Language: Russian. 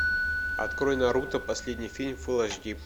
открой наруто последний фильм фулл эйч ди